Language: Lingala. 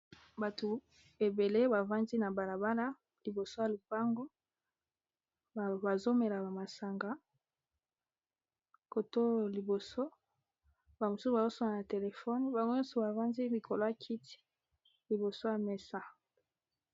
bato ebele bafandi na balabala liboso ya lupango bazomela bamasanga kotoo liboso bamosusu bazoswana na telefone bango nyonso bavandi mikolo ya kiti liboso ya mesa